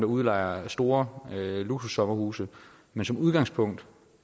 udlejer store luksussommerhuse men som udgangspunkt